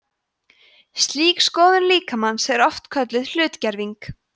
slík skoðun líkamans er oft kölluð hlutgerving